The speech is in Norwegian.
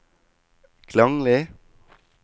klanglig